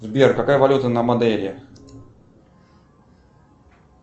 сбер какая валюта на мадейре